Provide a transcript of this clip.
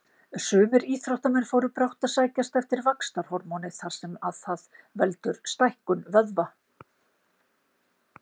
Sumir íþróttamenn fóru brátt að sækjast eftir vaxtarhormóni þar sem það veldur stækkun vöðva.